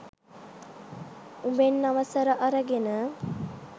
උඹෙන් අවසර අරගෙන